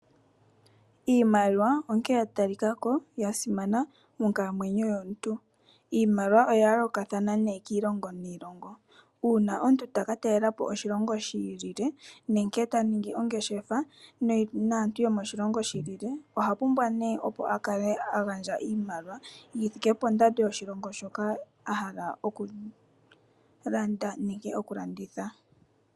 Iimalia onkene ya talikako ya simana monkalamweyo yomuntu. Iimaliwa oya yoolokathana kiilongo niilongo. Uuna omuntu ta ka talela po oshilongo shi ilile, nenge ta ningi ongeshefa naantu yo moshilongo shi ilile, oha pumbwa nee opo a kale a gandja iimaliwa yi thike pondando yoshilongo shoka a hala okulanda nenge okulanditha.